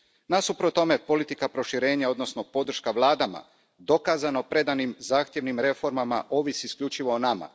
Nasuprot tome, politika proširenja odnosno podrška vladama dokazano predanim zahtjevnim reformama ovisi isključivo o nama.